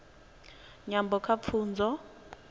nyambo kha pfunzo